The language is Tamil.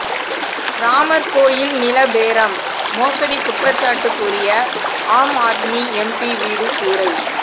ராமர் கோயில் நில பேரம் மோசடி குற்றச்சாட்டு கூறிய ஆம்ஆத்மி எம்பி வீடு சூறை